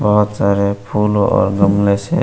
बहुत सारे फूल और गमले से--